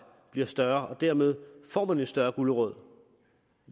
bliver større og dermed får man en større gulerod